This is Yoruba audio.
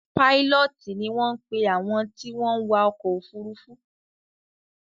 Pílọtíì ni wọn pe àwọn tí wọ́n wa ọkọ̀ ofurufu